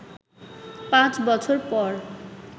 পাঁচ বছর পর